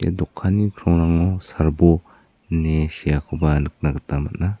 ia dokanni krongrango serbo in seakoba nikna gita man·a.